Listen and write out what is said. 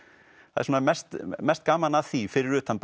það er mest mest gaman að því fyrir utan